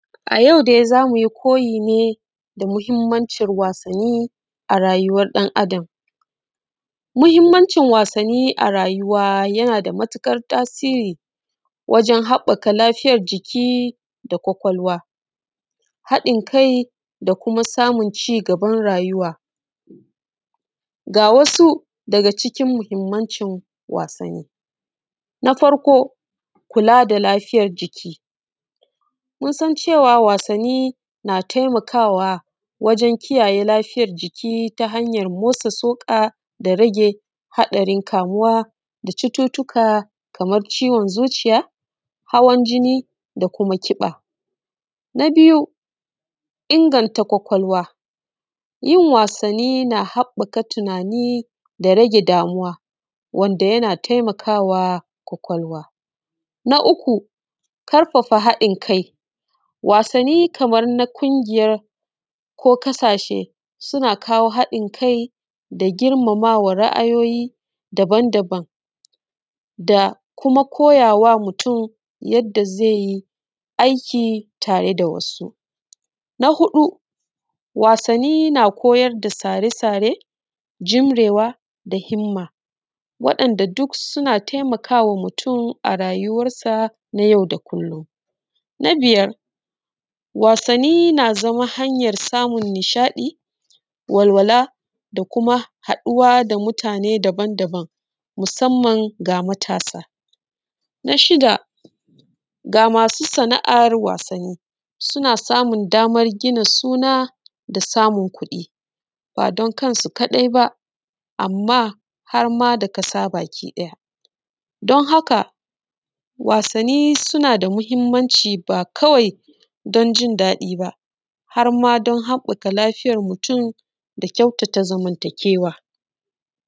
A yau dai zamu yi koyi ne da muhimmanci wassani a rayuwa ɗnn Adam. Muhimmanci wasani a rayuwa yana da matuƙar tasiri wajen haɓaka lafiyar jiki da kwakwalwa, haɗin kai da kuma samun ci gaban rayuwa. Ga wasu daga cikin muhimmancin wasani. Na farko, kula da lafiyar jiki, mun san cewa wasani na taimakawa wajen kiyayye lafiyar jiki ta hanyar motsa tsoka da rage haɗarin kamuwa da cututuka, kamar ciwon zuciya, hawan jini, da kuma ƙiba. Na biyu inganta kwakwalwa, yin wasani na haƙaka tunani da rage damuwa, wanda yana taimakawa kwakwalwa. Na uku, ƙarfafa haɗin kai, wasani kaman na ƙungiya ko ƙasashe suna kawo haɗin kai da girmamawa ra’ayoyi dabam-dabam da kuma koyawa mutum yadda zai yi aiki tare da wasu. Na huɗu, wasani na koyar da sare-sare, jimrewa da himma, wadanɗa duk suna taimakawa mutum a rayuwarsa na yau da kullum. Na biyar, wasani na zama hanyar nishaɗi, walwala da kuma haɗuwa da mutane dabam-dabam musamman ga matasa. Na shida, ga masu sana’ar wasani, suna samun damar gina suna, da samun kuɗi, ba don kansu kaɗai ba, amma harma da ƙasa baki ɗaya. Don haka wasani suna da muhimmanci ba kawai don jin daɗi ba, harma don haɓaka lafiyar mutum da kyatata zamantakewa.